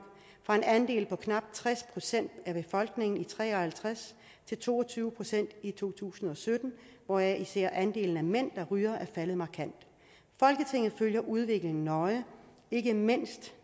fra en andel på knap tres procent af befolkningen i nitten tre og halvtreds til to og tyve procent i to tusind og sytten hvoraf især andelen af mænd der ryger er faldet markant folketinget følger udviklingen nøje ikke mindst